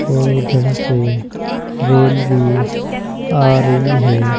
और उधर से रेल भी आ रही है।